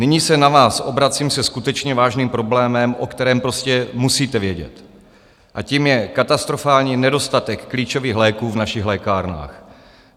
Nyní se na vás obracím se skutečně vážným problémem, o kterém prostě musíte vědět, a tím je katastrofální nedostatek klíčových léků v našich lékárnách.